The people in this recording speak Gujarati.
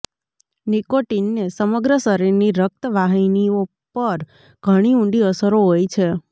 નિકોટિનને સમગ્ર શરીરની રક્તવાહિનીઓ પર ઘણી ઊંડી અસરો હોય છે